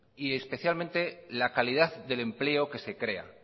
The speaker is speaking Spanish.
y especialmente la calidad del empleo que se crea